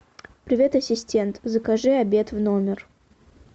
привет ассистент закажи обед в номер